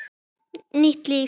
Nýtt líf.